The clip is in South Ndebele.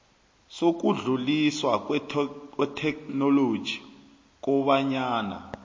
sokudluliswa kwetheknoloji kobanyana